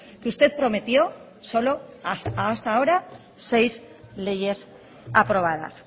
que usted prometió solo hasta ahora seis leyes aprobadas